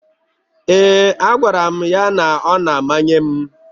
Ee, agwara m ya na ọ na-emanye m.